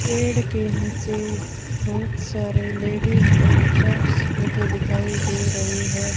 पेड़ के नीचे बहुत सारे लेडिस और जेंट्स बैठे दिखाई दे रहे है।